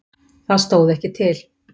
Það stóð ekki til.